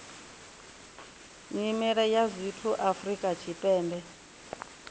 nyimele ya zwithu afrika tshipembe